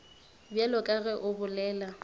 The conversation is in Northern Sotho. bjalo ka ge o bolela